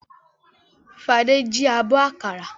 Fadé jí abọ́ àkàrà?